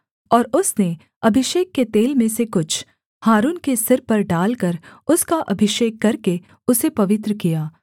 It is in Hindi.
और उसने अभिषेक के तेल में से कुछ हारून के सिर पर डालकर उसका अभिषेक करके उसे पवित्र किया